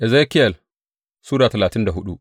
Ezekiyel Sura talatin da hudu